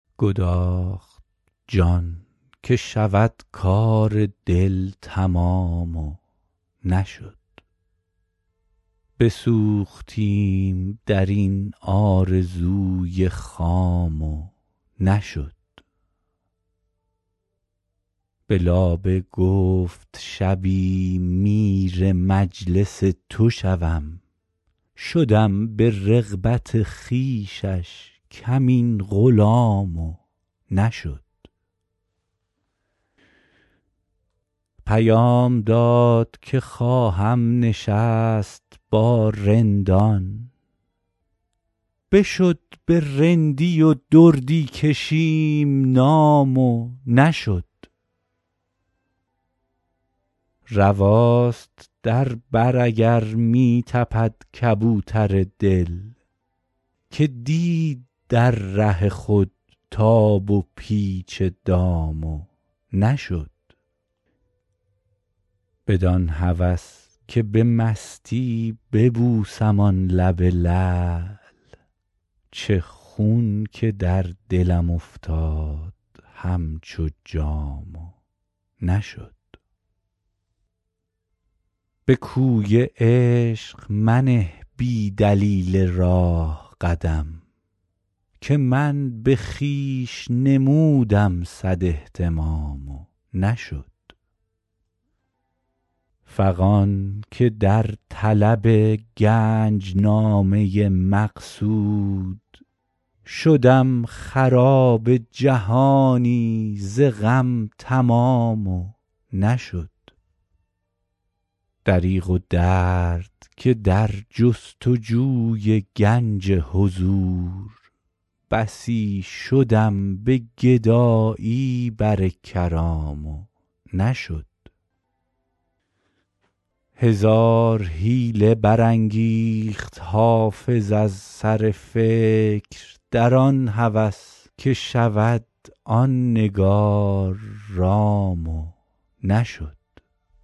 گداخت جان که شود کار دل تمام و نشد بسوختیم در این آرزوی خام و نشد به لابه گفت شبی میر مجلس تو شوم شدم به رغبت خویشش کمین غلام و نشد پیام داد که خواهم نشست با رندان بشد به رندی و دردی کشیم نام و نشد رواست در بر اگر می تپد کبوتر دل که دید در ره خود تاب و پیچ دام و نشد بدان هوس که به مستی ببوسم آن لب لعل چه خون که در دلم افتاد همچو جام و نشد به کوی عشق منه بی دلیل راه قدم که من به خویش نمودم صد اهتمام و نشد فغان که در طلب گنج نامه مقصود شدم خراب جهانی ز غم تمام و نشد دریغ و درد که در جست و جوی گنج حضور بسی شدم به گدایی بر کرام و نشد هزار حیله برانگیخت حافظ از سر فکر در آن هوس که شود آن نگار رام و نشد